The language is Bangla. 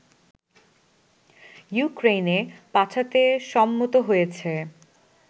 ইউক্রেনে পাঠাতে সম্মত হয়েছে